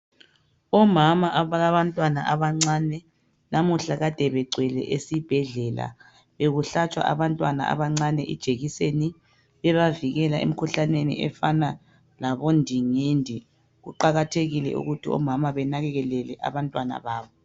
Omama abalabantwana abancane nauhla kade begcwele esibhedlela, bekuhlatshwa abanntwana abancane ijekiseni ebavikela emkhuhlaneni efana labondingindi. Kuqakathekile ukuthi omama benakekele abantwana babo.